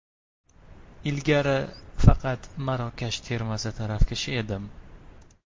Ilgari faqat Marokash termasi tarafkashi edim.